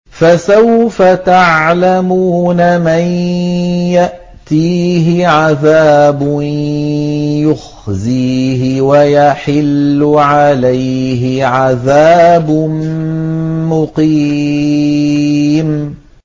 مَن يَأْتِيهِ عَذَابٌ يُخْزِيهِ وَيَحِلُّ عَلَيْهِ عَذَابٌ مُّقِيمٌ